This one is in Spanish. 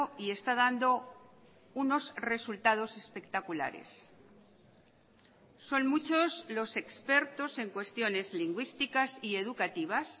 y está dando unos resultados espectaculares son muchos los expertos en cuestiones lingüísticas y educativas